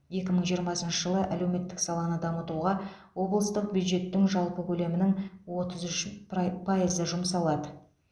екі мың жиырмасыншы жылы әлеуметтік саланы дамытуға облыстық бюджеттің жалпы көлемінің отыз үш пра пайызы жұмсалады